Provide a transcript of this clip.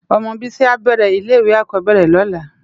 Òmò Bisi á bèrè ilè iwé ákòóbèrè lòlá